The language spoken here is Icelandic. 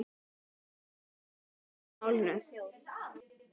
Jón fékk strax áhuga á málinu.